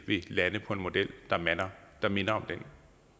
vil lande på en model der minder om den